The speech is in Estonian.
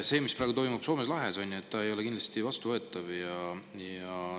See, mis praegu toimub Soome lahes, ei ole kindlasti vastuvõetav.